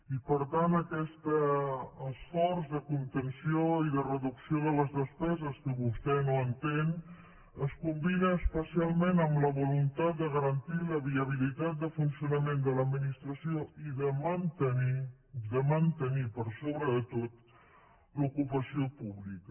i per tant aquest esforç de contenció i de reducció de les despeses que vostè no entén es combina especialment amb la voluntat de garantir la viabilitat de funcionament de l’administració i de mantenir de mantenir per sobre de tot l’ocupació pública